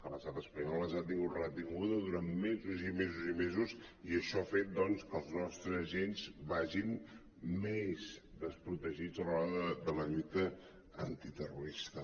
l’estat espanyol les ha tingut retingudes durant mesos i mesos i mesos i això ha fet doncs que els nostres agents vagin més desprotegits a l’hora de la lluita an·titerrorista